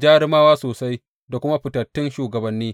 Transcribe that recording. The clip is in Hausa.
jarumawa sosai da kuma fitattun shugabanni.